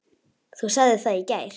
Þú sagðir það í gær.